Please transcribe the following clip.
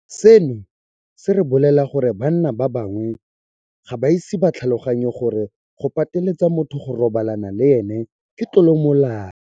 Seno se re bolelela gore banna ba bangwe ga ba ise ba tlhaloganye gore go pateletsa motho go robalana le ene ke tlolo ya molao.